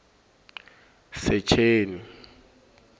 secheni